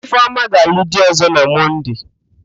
Ifeoma ga-alụ di ọ̀zọ́ na Mọnde.